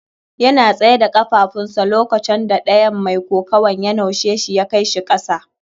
Yana tsaye da kafafun sa lokaconda ɗayan mai kokuwan ya naushe shi ya kai shi kasa.